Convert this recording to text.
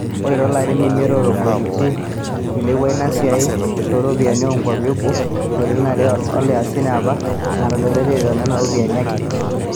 Ore to larin imiet otogiroitie eilepua ina siiai too ropiyiani oo nkwapi e boo o ntriolioni are, ore isiatin e apa netadoitie too nena ropiyiani ake.